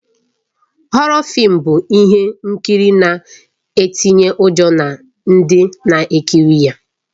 Họrọ fịịm bụ ihe nkiri na-ịtịnye ụjọ na ndị na-ekiri ya